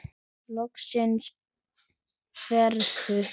Loksins friður!